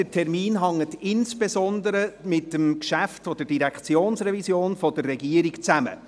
Der Termin hängt aber insbesondere mit dem Geschäft der Regierung zur Direktionsreform zusammen.